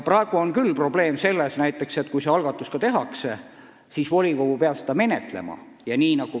Praegu on küll probleem selles, et kui selline algatus tehakse, siis volikogu peab seda menetlema.